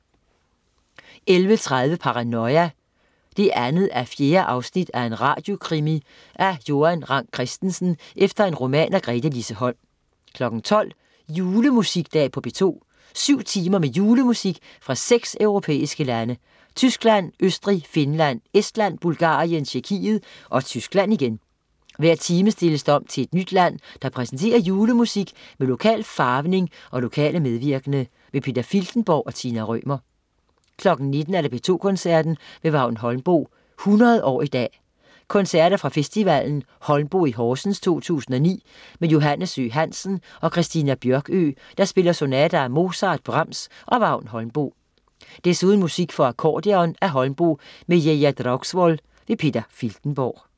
11.30 Paranoia 2:4. En radiokrimi af Joan Rang Christensen efter roman af Gretelise Holm 12.00 Julemusikdag på P2. Syv timer med julemusik fra seks europæiske lande: Tyskland, Østrig, Finland, Estland, Bulgarien, Tjekkiet og Tyskland igen. Hver time stilles der om til et nyt land, der præsenterer julemusik med lokal farvning og lokale medvirkende. Peter Filtenborg og Tina Rømer 19.00 P2 Koncerten. Vagn Holmboe, 100 år i dag. Koncerter fra festivalen Holmboe i Horsens 2009 med Johannes Søe Hansen og Christina Bjørkøe, der spiller sonater af Mozart, Brahms og Vagn Holmboe. Desuden musik for akkordeon af Holmboe med Geir Draugsvoll. Peter Filtenborg